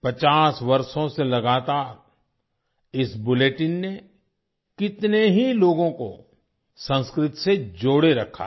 50 वर्षों से लगातार इस बुलेटिन ने कितने ही लोगों को संस्कृत से जोड़े रखा है